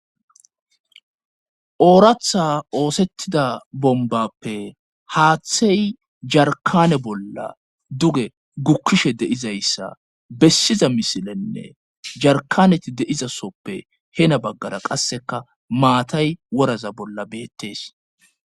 Ooratha oosettida bombappe haaththey jarkane bolla duge gukkishe deizayssa bessiza misilenne jarkaneti deizasoppe hena baggara qasseka maatay woraza bolla beettees